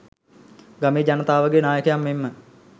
ගමේ ජනතාවගේ නායකයන් මෙන්ම